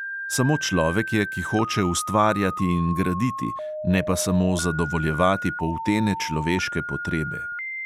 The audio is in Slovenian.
Samo človek je, ki hoče ustvarjati in graditi, ne pa samo zadovoljevati poltene človeške potrebe.